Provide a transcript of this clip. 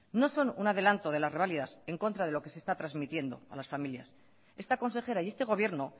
no son un adelanto de las reválidas en contra de lo que se está transmitiendo a las familias esta consejera y este gobierno